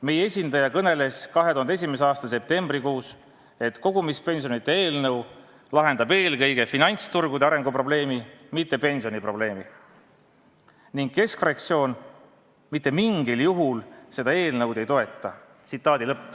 Meie esindaja kõneles 2001. aasta septembrikuus, et kogumispensionide seaduse eelnõu lahendab eelkõige finantsturgude arengu probleemi, mitte pensioniprobleemi, ning keskfraktsioon mitte mingil juhul seda eelnõu ei toeta.